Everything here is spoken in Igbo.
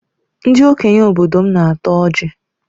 Ndị okenye obodo m na-ata ọjị.